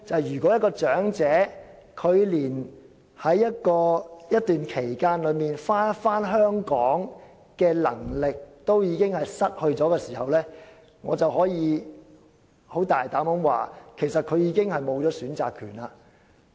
如果有長者連在一段時間內返回香港的能力亦已失去，我可以大膽說句，他其實已失去選擇權。